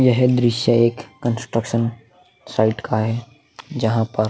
यह दृश्य एक कंस्ट्रक्शन साइड का है जहा पर --